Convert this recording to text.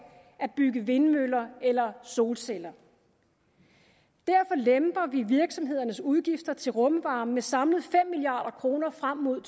at bygge vindmøller eller solceller derfor lemper vi virksomhedernes udgifter til rumvarme med samlet fem milliard kroner frem mod